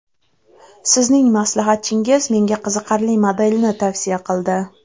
Sizning maslahatchingiz menga qiziqarli modelni tavsiya qildi.